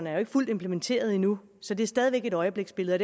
er fuldt implementeret endnu så det er stadig væk et øjebliksbillede